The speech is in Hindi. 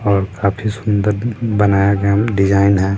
और काफी सुंदर बनाया गायम डिज़ाइन है।